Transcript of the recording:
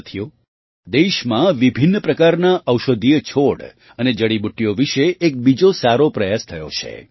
સાથીઓ દેશમાં વિભિન્ન પ્રકારના ઔષધીયો છોડ અને જડીબુટ્ટીઓ વિશે એક બીજો સારો પ્રયાસ થયો છે